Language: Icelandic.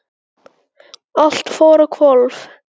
Allt fór á hvolf.